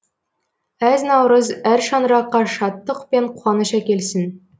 әз наурыз әр шаңыраққа шаттық пен қуаныш әкелсін